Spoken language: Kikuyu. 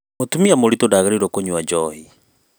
mũtumia mũritu ndagĩrĩirwo kũnywa njohi